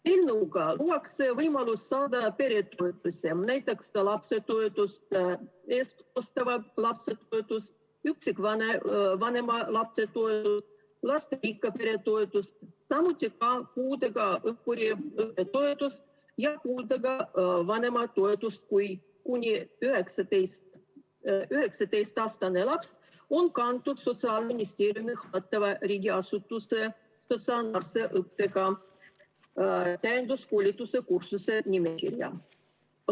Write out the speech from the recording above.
Eelnõuga luuakse võimalus saada peretoetusi, näiteks lapsetoetust, eestkostetava lapse toetust, üksikvanema lapse toetust, lasterikka pere toetust, samuti puudega õppuri õppetoetust ja puudega vanema toetust, kui kuni 19-aastane laps on kantud Sotsiaalministeeriumi hallatava riigiasutuse statsionaarse õppega täienduskoolituse kursuse nimekirja.